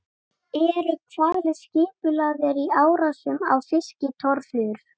Eru hvalir skipulagðir í árásum á fiskitorfur?